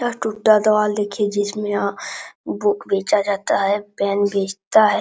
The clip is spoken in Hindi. यह टुटा देवाल देखी जिसमें आ बुक बेचा जाता है पेन बेचता है।